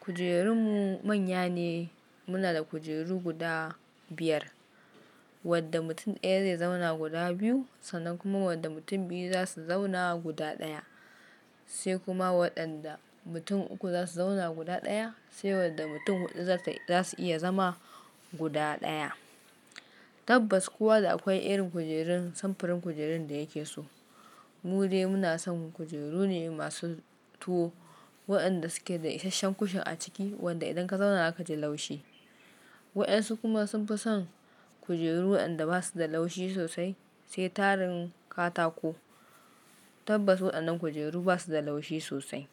Kujerunmu manya ne. Muna da kujeru guda biyar, wadda mutum ɗaya zai zauna guda biyu, sannan kuma wadda mutum biyu zasu zauna guda ɗaya, sai kuma waɗanda mutum uku zasu zauna guda ɗaya, sai wadda mutum huɗu zasu iya zama guda ɗaya. Tabbas kowa da aƙwai irin kujerun samfurin kujerun da yake so. Mu dai muna son kujeru ne masu tuwo waɗanda suke da isashen kushin a ciki wanda idan ka zauna zakaji laushi. Waɗansu kuma sun fi son kujeru waɗanda basuda laushi sosai sai tarin katako. Tabbas waɗannan kujeru basuda laushi sosai.